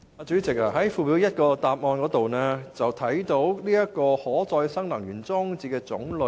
主席，主體答覆的附表一，列出了可再生能源裝置的種類。